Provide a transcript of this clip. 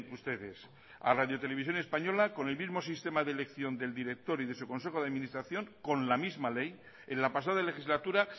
ustedes a radio televisión española con el mismo sistema de elección del director y de su consejo de administración con la misma ley en la pasada legislatura